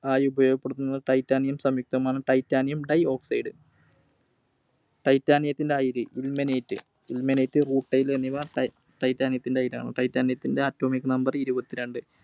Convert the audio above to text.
ആയി ഉപയോഗപ്പെടുത്തുന്ന Titanium സംയുക്‌തമാണ് Titanium Dioxide Titanium ത്തിൻറെ അയിര് Ilmenite. Ilmenite, Rutile എന്നിവ Titanium ത്തിൻറെ അയിരാണ്. Titanium ത്തിൻറെ Atomic Number ഇരുപത്തിരണ്ട്.